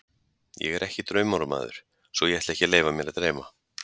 Ég er ekki draumóramaður, svo ég ætla ekki að leyfa mér að dreyma.